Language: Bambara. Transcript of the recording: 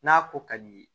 N'a ko ka di i ye